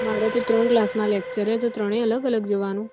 મારે તો ત્રણ class માં lecture હે તો ત્રણે અલગ અલગ જવાનું